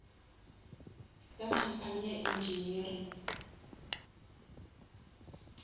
ka company ya engineering